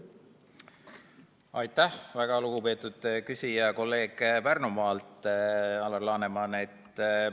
Aitäh, väga lugupeetud küsija ja kolleeg Pärnumaalt Alar Laneman!